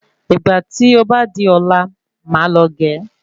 Ìgbà tí ó bá di ọ̀la máà lọ ge